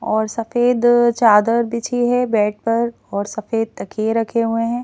और सफेद चादर बिछी है बेड पर और सफेद तखिए रखे हुए हैं।